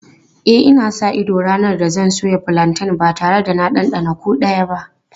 E, ina sa ido ranar da zan soya fulanten ba tare da na ɗanɗana kowa ba.